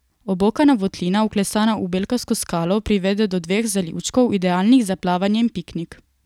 Obokana votlina, vklesana v belkasto skalo, privede do dveh zalivčkov, idealnih za plavanje in piknik.